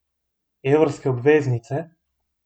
Evrske obveznice?